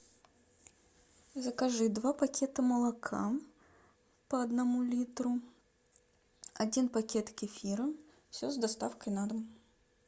закажи два пакета молока по одному литру один пакет кефира все с доставкой на дом